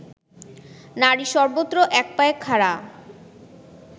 নারী সর্বত্র একপায়ে খাড়া